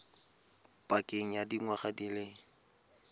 pakeng ya dingwaga di le